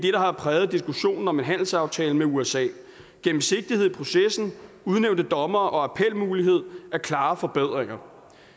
har præget diskussionen om en handelsaftale med usa gennemsigtighed i processen udnævnte dommere og appelmulighed er klare forbedringer